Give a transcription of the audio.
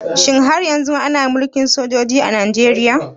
Shin har yanzu ana Mulkin sojoji a Najeriya?